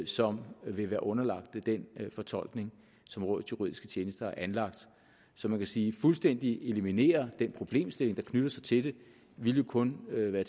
som vil være underlagt den fortolkning som rådets juridiske tjenester har anlagt så man kan sige at fuldstændig eliminere den problemstilling der knytter sig til det ville kun være